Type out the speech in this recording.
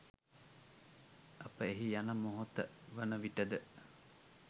අප එහි යන මොහොත වන විටද